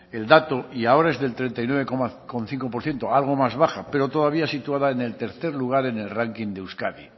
el dato y ahora es del treinta y nueve coma cinco por ciento algo más baja pero todavía situada en el tercer lugar en el ranking de euskadi